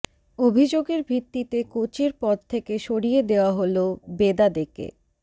অভিযোগের ভিত্তিতে কোচের পদ থেকে সরিয়ে দেওয়া হল বেদাদেকে